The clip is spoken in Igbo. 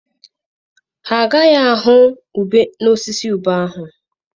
Ha agaghị ahụ ube n'elu osisi ube ahụ.